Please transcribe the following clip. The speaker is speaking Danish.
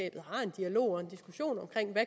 dialog og en diskussion